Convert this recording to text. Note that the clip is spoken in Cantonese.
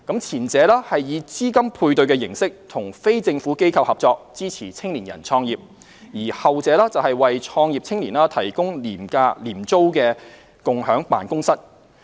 前者以資金配對形式與非政府機構合作，支持青年人創業；而後者為創業青年提供廉租共享辦公室。